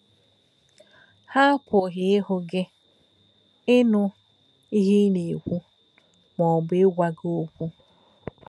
Ha àpūghī īhú gí, īnū íhe í nà-èkwú, ma ọ̀bū īgwá gí okwú.